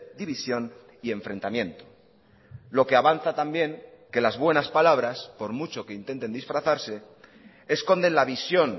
división y enfrentamiento lo que avanza también que las buenas palabras por mucho que intenten disfrazarse esconden la visión